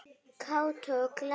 Kátur og glaður.